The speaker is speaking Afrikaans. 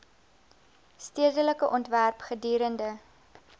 stedelike ontwerp gedurende